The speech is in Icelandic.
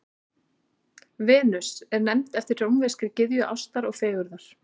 Venus er nefnd eftir rómverskri gyðju ástar og fegurðar.